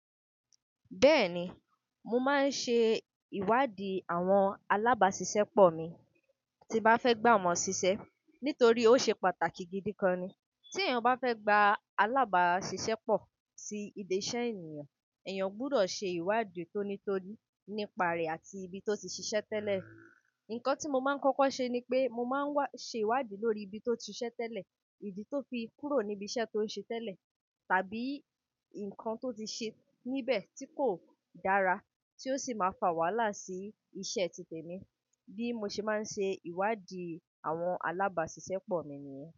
Bẹ́ẹ̀ni, mo máa ń ṣe ìwádìí àwọn alábàáṣiṣẹ́ pọ̀ mi tí bá fẹ́ gbà wọ́n ṣiṣẹ́ nítorí ó ṣe pàtàkì gidi gan ni. Tí èèyàn bá fẹ́ gba alábàáṣiṣẹ́ pọ̀ sí ibi iṣẹ́ ènìyàn, èèyàn gbudọ̀ ṣe ìwádìí tónítóní nípa rè àti ibi tó ti ṣiṣẹ́ tẹ́lẹ̀. Ǹkan tí mo máa ń kọ́kọ́ ṣe ni pé mo máa ń wá ṣe ìwádìí lórí ibi tó ti ṣiṣẹ́ tẹ́lẹ̀, ìdí tó fi kúrò ní ibi iṣẹ́ tó ń ṣe tẹ́lẹ̀ tàbí ǹkan tó ti ṣe níbẹ̀ tí kò dára tí ó sì máa fà wàhálà sí isẹ́ titẹ̀ mi. Bí mo ṣe máa ń ṣe ìwádìí àwọn alábàáṣiṣẹ́ pọ̀ mi nìyẹn.